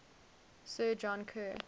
sir john kerr